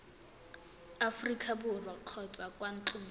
aforika borwa kgotsa kwa ntlong